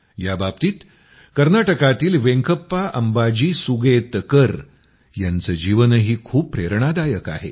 याबाबतीत कर्नाटकातील वेंकप्पा अम्बाजी सुगेतकर यांचं जीवनही खूप प्रेरणादायक आहे